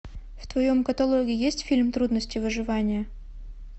в твоем каталоге есть фильм трудности выживания